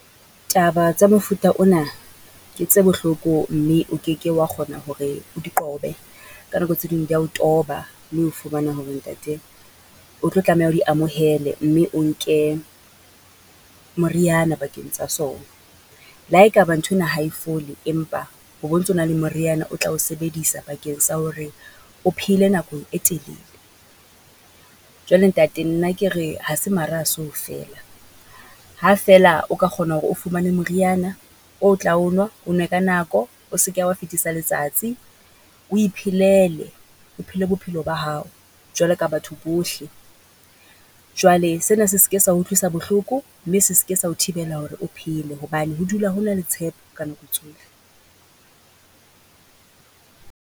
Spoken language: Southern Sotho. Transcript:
Taba tsa mofuta ona ke tse bohloko, mme o keke wa kgona hore di qobe, ka nako tse ding di ya o toba. Mme o fumana hore ntate o tlo tlameha o di amohele mme o nke moriana bakeng tsa sona. Le ha e ka ba nthwena ha e fole, empa ho bo ntsona le moriana o tla o sebedisa bakeng sa hore o phele nakong e telele. Jwale ntate nna ke re ha se mara ha se ho feela. Ha feela o ka kgona hore o fumane moriana o tla o nwa, o nwe ka nako, o se ke wa fitisa letsatsi. O iphelele, o phele bophelo ba hao jwalo ka batho bohle. Jwale sena se se ke sa o utlwisa bohloko mme se se ke sa o thibela hore o phele, hobane ho dula ho na le tshepo ka nako tsohle.